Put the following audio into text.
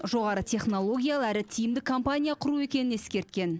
жоғары технологиялы әрі тиімді компания құру екенін ескерткен